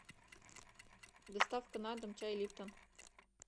доставка на дом чай липтон